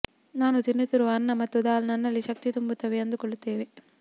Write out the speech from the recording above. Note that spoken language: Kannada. ನಾನು ತಿನ್ನುತ್ತಿರುವ ಅನ್ನ ಮತ್ತು ದಾಲ್ ನನ್ನಲ್ಲಿ ಶಕ್ತಿ ತುಂಬುತ್ತವೆ ಅಂದುಕೊಳ್ಳುತ್ತೇನೆ